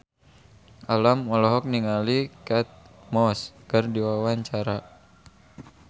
Alam olohok ningali Kate Moss keur diwawancara